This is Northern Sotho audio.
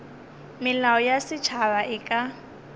melao ya setšhaba e ka